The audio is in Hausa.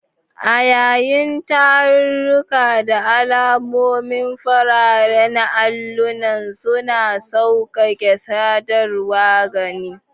A yayin tarurruka, da alamomi fararen allunan suna sauƙaƙe sadarwar gani.